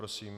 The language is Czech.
Prosím.